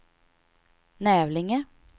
Nävlinge